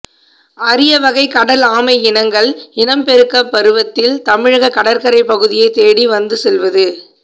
அரிய வகை கடல் ஆமை இனங்கள் இனப்பெருக்கப் பருவத்தில் தமிழக கடற்கரைப் பகுதியைத்தேடி வந்து செல்வது